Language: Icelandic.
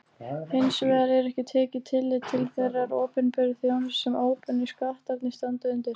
Hins vegar er ekki tekið tillit til þeirrar opinberu þjónustu sem óbeinu skattarnir standa undir.